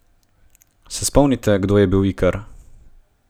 Se spomnite, kdo je bil Ikar?